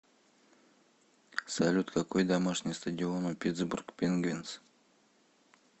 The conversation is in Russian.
салют какой домашний стадион у питтсбург пингвинз